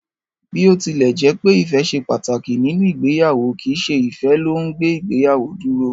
Bí ó tilẹ̀ jẹ́pẹ́ ìfẹ́ ṣe pàtàkì nínú ìgbéyàwó, kìí ṣe ìfẹ́ ló ùn gbé ìgbéyàwó dúró.